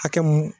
Hakɛ mun